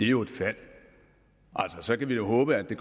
jo et fald altså så kan vi håbe at det